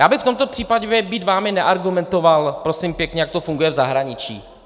Já bych v tomto případě, být vámi, neargumentoval, prosím pěkně, jak to funguje v zahraniční.